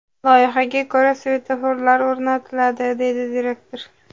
Loyihaga ko‘ra, svetoforlar o‘rnatiladi”, – deydi direktor.